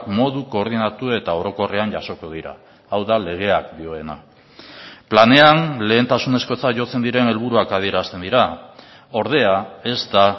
modu koordinatu eta orokorrean jasoko dira hau da legeak dioena planean lehentasunezkotzat jotzen diren helburuak adierazten dira ordea ez da